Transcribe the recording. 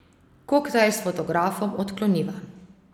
Koktajl s fotografom odkloniva.